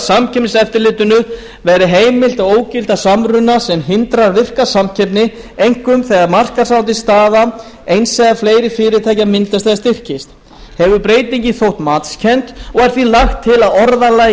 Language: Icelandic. samkeppniseftirlitinu verði heimilt að ógilda samruna sem hindrar virka samkeppni einkum þegar markaðsráðandi staða eins eða fleiri fyrirtækja myndast eða styrkist hefur breytingin þótt matskennd og er því lagt til að orðalagi